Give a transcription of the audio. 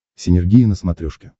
синергия на смотрешке